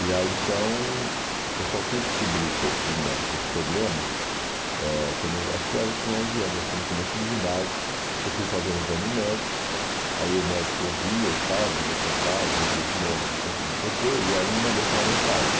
E aí então eu só fui descobrir que eu tinha esse problema, ãh quando eu acho que era eu tinha onze anos, acho que no começo do ginásio, que eu fui fazer um exame médico, aí o médico ouvia e tal, mandou sentar e eu ouvia de novo, não sei o que, não sei o que, e aí mandou eu chamar meus pais.